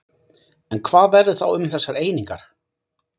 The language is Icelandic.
En hvað verður þá um þessar einingar?